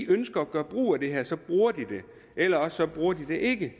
ønsker at gøre brug af det her så bruger de det eller også bruger de det ikke